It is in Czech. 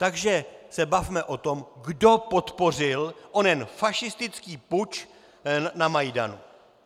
Takže se bavme o tom, kdo podpořil onen fašistický puč na Majdanu.